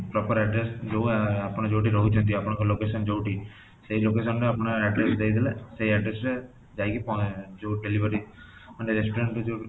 proper address ଯୋଉ ଆଃ ଆପଣ ଯୋଉଠି ରହୁଛନ୍ତି ଅପଣଙ୍କ location ଯୋଉଠି ସେଇ lacation ରେ ଆପଣ address ଦେଇ ଦେଲେ ଯାଇ କି ପଳେ ଯୋଉ delivery ମାନେ restaurant କୁ ଯୋଉ